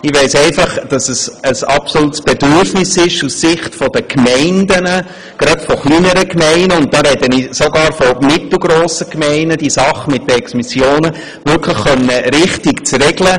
Ich weiss einfach, dass es aus Sicht kleinerer und sogar mittelgrosser Gemeinden ein absolutes Bedürfnis ist, die Sache mit den Exmissionen wirklich richtig regeln zu können.